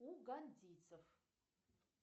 у гандийцев